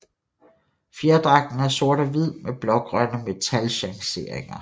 Fjerdragten er sort og hvid med blågrønne metalchangeringer